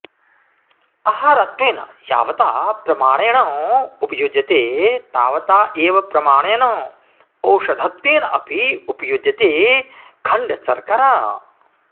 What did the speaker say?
आहारत्वेन यावता प्रमाणेन उपयुज्यते तावता एव प्रमाणेन औषधत्वेन अपि उपयुज्यते खण्डशर्करा